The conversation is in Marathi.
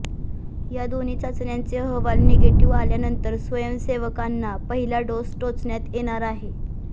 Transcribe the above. या दोन्ही चाचण्यांचे अहवाल निगेटिव्ह आल्यानंतर स्वयंसेवकांना पहिला डोस टोचण्यात येणार आहे